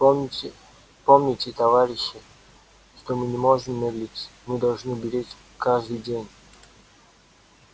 помните товарищи что мы не можем медлить мы должны беречь каждый день